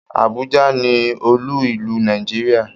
Abùjá ni olú ìlú Nàìjíríà.